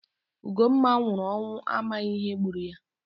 Ugomma nwụrụ ọnwụ amaghị ihe gburu ya